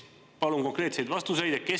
Palun konkreetseid vastuseid!